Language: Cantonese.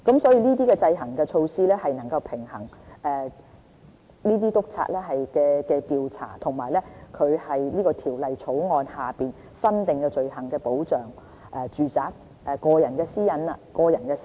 所以，這些制衡措施能夠平衡督察調查在《條例草案》下新訂的罪行的權力和保障住宅個人私隱的需要。